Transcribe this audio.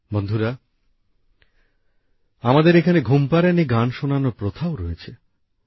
বন্ধুরা আমাদের এখানে ঘুমপাড়ানি গান শোনানোর প্রথাও রয়েছে